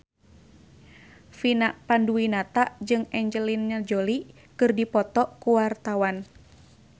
Vina Panduwinata jeung Angelina Jolie keur dipoto ku wartawan